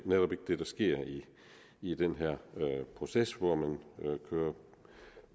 netop ikke det der sker i den her proces hvor man kører